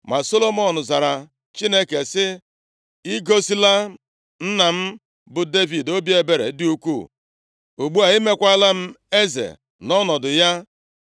Ma Solomọn zara Chineke, sị, “I gosila nna m bụ Devid obi ebere dị ukwuu. Ugbu a, i meekwala m eze nʼọnọdụ ya